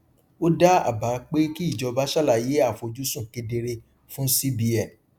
ó dá àbá pé kí ìjọba ṣàlàyé àfojúsùn kedere fún cbn